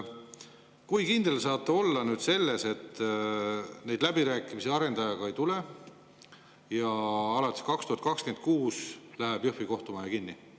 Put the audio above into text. Kui kindel te saate olla, et neid läbirääkimisi arendajaga ei tule ja alates 2026 läheb Jõhvi kohtumaja kinni?